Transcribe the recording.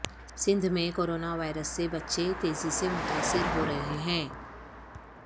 سندھ میں corona virus سے بچے تیزی سے متاثر ہو رہے ہیں